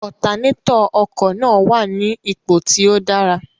Otanétọ̀ ọkọ̀ náà wà ní ipò tí ó dára.